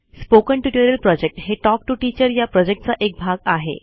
spoken tutorial project हे talk to teacher या प्रॉजेक्टचा एक भाग आहे